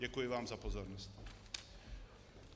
Děkuji vám za pozornost.